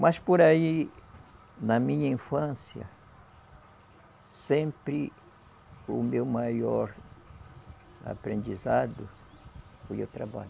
Mas por aí, na minha infância, sempre o meu maior aprendizado foi o trabalho.